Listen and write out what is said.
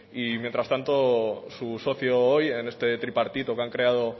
y mientras tanto su socio hoy en este tripartito que han creado